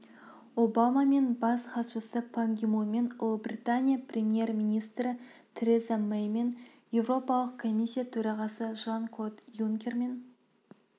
обамамен бас хатшысы пан ги мунмен ұлыбритания премьер-министрі тереза мэймен еуропалық комиссия төрағасы жан-клод юнкермен